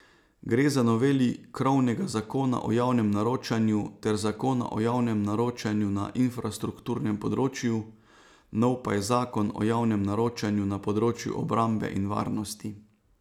Gre za noveli krovnega zakona o javnem naročanju ter zakona o javnem naročanju na infrastrukturnem področju, nov pa je zakon o javnem naročanju na področju obrambe in varnosti.